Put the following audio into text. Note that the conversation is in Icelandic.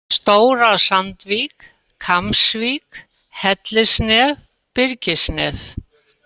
Stóra-Sandvík, Kambsvik, Hellisnef, Byrgisnef